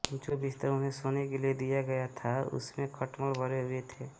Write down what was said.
जो बिस्तर उन्हें सोने के लिए दिया गया था उसमे खटमल भरे हुए थे